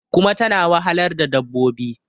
kuma tana wahalar da dabbobin